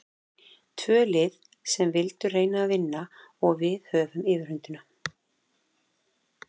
Tvö lið sem vildu reyna að vinna og við höfðum yfirhöndina.